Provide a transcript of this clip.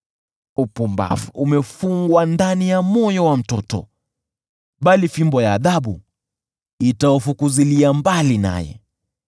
Upumbavu umefungwa ndani ya moyo wa mtoto, bali fimbo ya adhabu itaufukuzia mbali naye.